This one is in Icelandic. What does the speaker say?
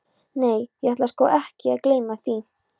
Nei, ég ætla sko ekki að gleyma því?